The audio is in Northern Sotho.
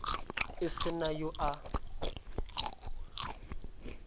e se na yo a